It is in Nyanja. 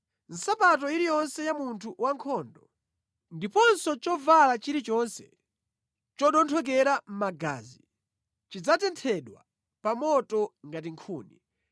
Nsapato iliyonse ya munthu wankhondo, ndiponso chovala chilichonse chodonthekera magazi zidzatenthedwa pa moto ngati nkhuni.